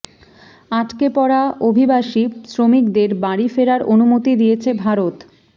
আটকে পড়া অভিবাসী শ্রমিকদের বাড়ি ফেরার অনুমতি দিয়েছে ভারত